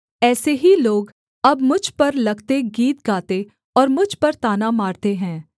ऐसे ही लोग अब मुझ पर लगते गीत गाते और मुझ पर ताना मारते हैं